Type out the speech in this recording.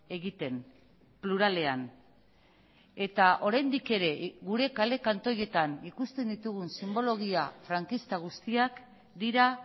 egiten pluralean eta oraindik ere gure kale kantoietan ikusten ditugun sinbologia frankista guztiak dira